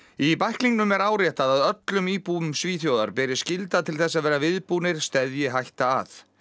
í bæklingnum er áréttað að öllum íbúum Svíþjóðar beri skylda til þess að vera viðbúnir steðji hætta að